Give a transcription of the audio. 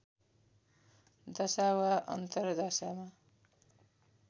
दशा वा अन्तर्दशामा